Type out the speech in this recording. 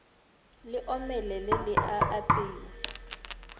le omelele le a apewa